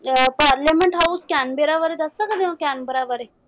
ਅਹ parliament house Canberra ਬਾਰੇ ਦੱਸ ਸਕਦੇ ਓ ਕੈਨਬੇਰਾ ਬਾਰੇ?